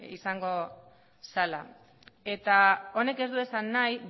izango zela eta honek ez du esan nahi